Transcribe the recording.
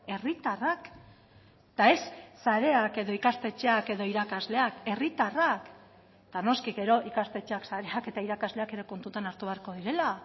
herritarrak eta ez sareak edo ikastetxeak edo irakasleak herritarrak eta noski gero ikastetxeak sareak eta irakasleak ere kontutan hartu beharko direla